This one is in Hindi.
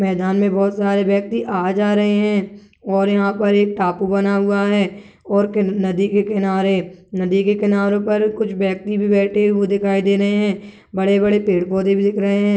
मैदान में बहोत सारे व्यक्ति आ जा रहे है और यहाँ पर एक टापू बना हुआ है नदी के किनारे नदी के किनारो पर कुछ व्यक्ति बैठे हुए दिखाई दे रहे है बड़े-बड़े पेड़-पौधे भी दिख रहे है।